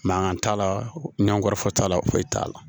Mankan t'a la ɲankɔrɔ fɔ t'a la foyi t'a la